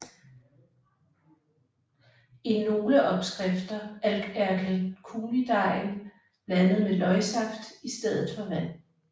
I nogle opskrifter er kaldunydejen blandet med løgsaft istedet for vand